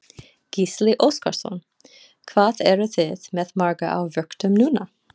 Gísli Óskarsson: Hvað eruð þið með marga á vöktum núna?